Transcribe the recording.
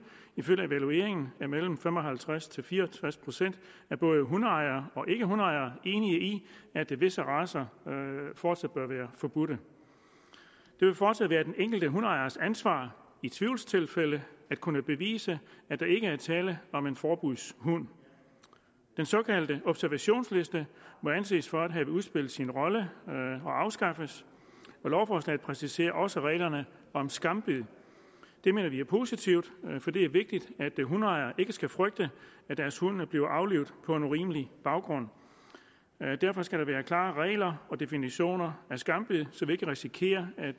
ifølge evalueringen er mellem fem og halvtreds til fire og tres procent af både hundeejere og ikkehundeejere enige i at visse racer fortsat bør være forbudt det vil fortsat være den enkelte hundeejers ansvar i tvivlstilfælde at kunne bevise at der ikke er tale om en forbudshund den såkaldte observationsliste må anses for at have udspillet sin rolle og afskaffes og lovforslaget præciserer også reglerne om skambid det mener vi er positivt for det er vigtigt at hundeejere ikke skal frygte at deres hund bliver aflivet på en urimelig baggrund derfor skal der være klare regler og definitioner af skambid så vi ikke risikerer at